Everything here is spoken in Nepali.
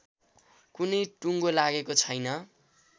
कुनै टुङ्गो लागेको छैन